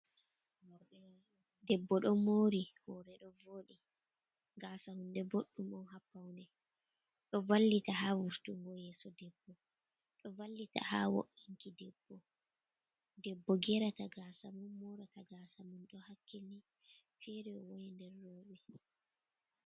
Debbo ɗon moori hoore ɗo vooɗi, gaasa hunde boɗɗum on haa pawne, ɗo vallita haa vurtungo yeeso debbo, ɗo vallita haa wo’’inki debbo. Debbo geerata gaasa mum, moorata gaasa mum, ɗo hakkilini, feere woni, nder rowɓe.